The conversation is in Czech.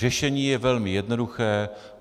Řešení je velmi jednoduché.